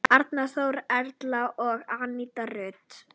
Arnþór, Erla og Aníta Rut.